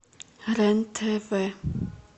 рен тв